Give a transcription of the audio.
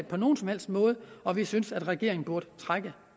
på nogen som helst måde og vi synes at regeringen burde trække